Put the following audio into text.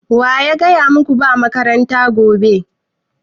Wa ya gaya maku ba makaranta gobe?